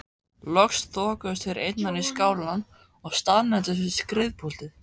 Loks þokuðust þeir innar í skálann og staðnæmdust við skrifpúltið.